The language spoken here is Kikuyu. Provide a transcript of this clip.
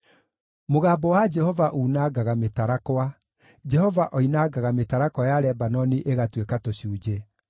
Mũgambo wa Jehova unangaga mĩtarakwa; Jehova oinangaga mĩtarakwa ya Lebanoni ĩgatuĩka tũcunjĩ.